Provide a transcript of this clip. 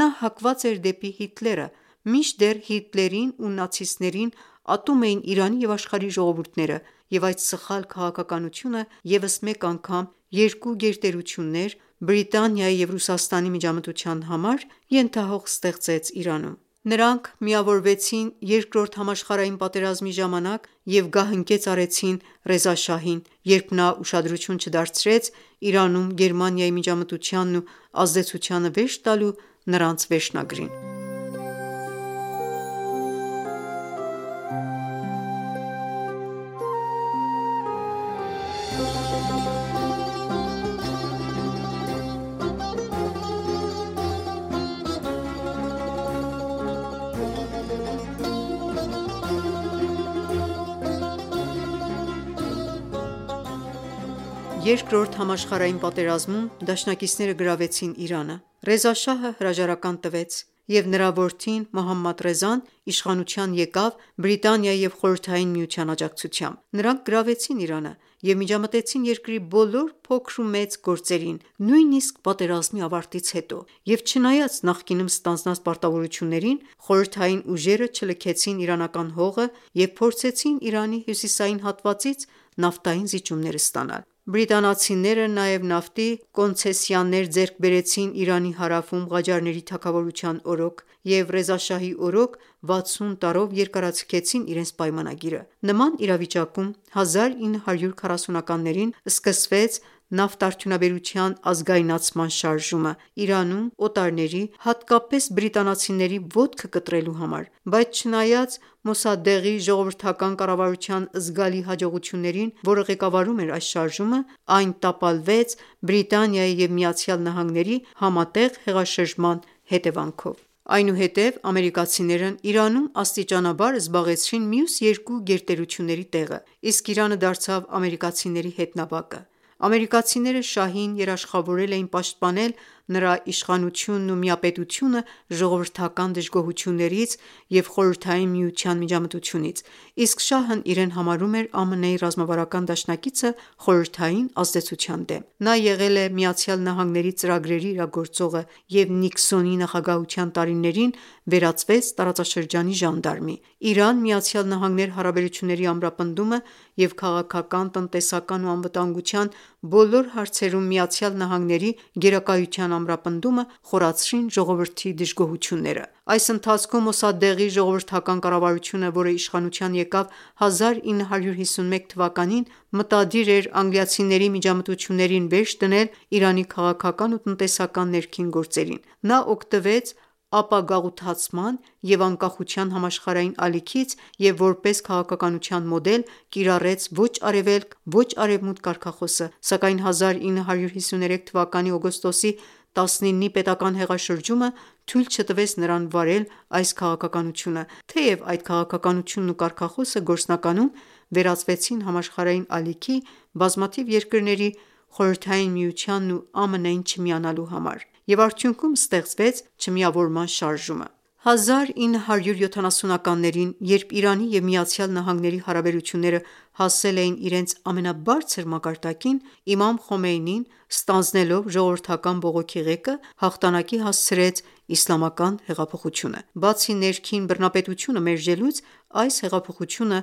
նա հակված էր դեպի Հիտլերը, մինչդեռ Հիտլերին ու նացիստներին ատում էին Իրանի և աշխարհի ժողովուրդները, և այդ սխալ քաղաքականությունը ևս մեկ անգամ երկու գերտերություններ՝ Բրիտանիայի և Ռուսաստանի միջամտության համար ենթահող ստեղծեց Իրանում:Նրանք միավորվեցին Երկրորդ համաշխարհային պատերազմի ժամանակ և գահընկեց արեցին Ռեզա Շահին, երբ նա ուշադրություն չդարձրեց Իրանում Գերմանիայի միջամտությանն ու ազդեցությանը վերջ տալու նրանց վերջնագրին։ Երկրորդ համաշխարհային պատերազմում դաշնակիցները գրավեցին Իրանը, Ռեզա շահը հրաժարական տվեց, և նրա որդին՝ Մոհամմադ Ռեզան, իշխանության եկավ Բրիտանիայի և Խորհրդային Միության աջակցությամբ։ Նրանք գրավեցին Իրանը և միջամտեցին երկրի բոլոր փոքր ու մեծ գործերին, նույնիսկ պատերազմի ավարտից հետո և չնայած նախկինում ստանձնած պարտավորություններին, խորհրդային ուժերը չլքեցին իրանական հողը և փորձեցին Իրանի հյուսիսային հատվածից նավթային զիջումներ ստանալ։ Բրիտանացիները նաև նավթի կոնցեսիաներ ձեռք բերեցին Իրանի հարավում Ղաջարների թագավորության օրոք, և Ռեզա շահի օրոք 60 տարով երկարաձգեցին իրենց պայմանագիրը: Նման իրավիճակում 1940-ականներին սկսվեց նավթարդյունաբերության ազգայնացման շարժումը՝ Իրանում օտարների, հատկապես բրիտանացիների ոտքը կտրելու համար, բայց չնայած Մոսադեղի ժողովրդական կառավարության զգալի հաջողություններին, որը ղեկավարում էր այս շարժումը, այն տապալվեց Բրիտանիայի և Միացյալ Նահանգների համատեղ հեղաշրջման հետևանքով։ Այնուհետև ամերիկացիներն Իրանում աստիճանաբար զբաղեցրին մյուս երկու գերտերությունների տեղը, իսկ Իրանը դարձավ ամերիկացիների հետնաբակը։ Ամերիկացիները շահին երաշխավորել էին պաշտպանել նրա իշխանությունն ու միապետությունը ժողովրդական դժգոհություններից և խորհրդային միության միջամտությունից, իսկ Շահն իրեն համարում էր ԱՄՆ-ի ռազմավարական դաշնակիցը խորհրդային ազդեցության դեմ: Նա եղել է ԱՄՆ-ի ծրագրերի իրագործողը և Նիքսոնի նախագահության տարիներին վերածվեց տարածաշրջանի ժանդարմի։ Իրան-ԱՄՆ հարաբերությունների ամրապնդումը և քաղաքական, տնտեսական և անվտանգության բոլոր հարցերում ԱՄՆ-ի գերակայության ամրապնդումը խորացրին ժողովրդի դժգոհությունները։ Այս ընթացքում Մոսադեղի ժողովրդական կառավարությունը, որը իշխանության եկավ 1951 թվականին, մտադիր էր անգլիացիների միջամտություններին վերջ դնել Իրանի քաղաքական ու տնտեսական ներքին գործերին։ Նա օգտվեց ապագաղութացման և անկախության համաշխարհային ալիքից և որպես քաղաքականության մոդել կիրառեց «ոչ արևելք», «ոչ արևմուտք» կարգախոսը, սակայն 1953 թվականի օգոստոսի 19-ի պետական հեղաշրջումը թույլ չտվեց նրան վարել այս քաղաքականությունը, թեև այդ քաղաքականությունն ու կարգախոսը գործնականում վերածվեցին համաշխարհային ալիքի՝ բազմաթիվ երկրների Խորհրդային միությանն ու ԱՄՆ-ին չմիանալու համար և արդյունքում ստեղծվեց Չմիավորման շարժումը։ 1970-ականներին երբ Իրանի և ԱՄՆ-ի հարաբերությունները հասել էին իրենց ամենաբարձր մակարդակին, Իմամ Խոմեյնին ստանձնելով ժողովրդական բողոքի ղեկը հաղթանակի հասցրեց Իսլամական հեղափոխությունը: Բացի ներքին բռնապետությունը մերժելուց, այս հեղափոխությունը